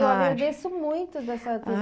Eu agradeço muito da senhora ter